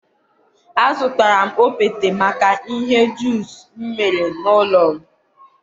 a zụtara m okpete, maka ihe ọ juiceụụ ihe ọ juiceụ ụ ụlọ m mere n'ụlọ